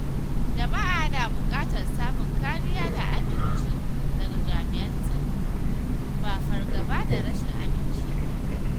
Jama’a na buƙatar samun kariya da aminci daga jami’an tsaro, ba fargaba da rashin aminci ba.